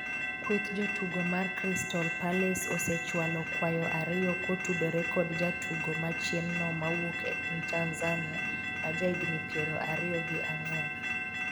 kweth jotugo mar crystal palace osechwalo kwayo ariyo kotudore kod jatugo machien 'no ma wuok e piny Tanzania ma ja higni piero ariyo gi ang'wen